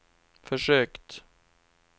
försökt